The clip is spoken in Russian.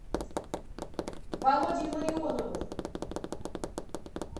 володей ларионовым